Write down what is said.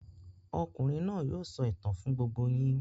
Okùnrin náà yóò sọ ìtàn fún gbogbo yín.